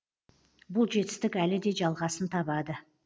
бұл жетістік әлі де жалғасын табады